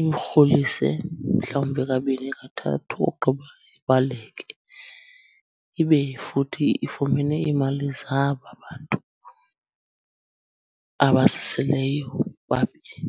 imrholise mhlawumbi kabini kathathu ogqiba ibaleke, ibe futhi ifumene imali zaba bantu abazisileyo babini.